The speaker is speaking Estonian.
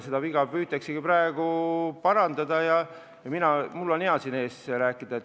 Seda viga püütaksegi praegu parandada ja mul on sellest hea siin teie ees rääkida.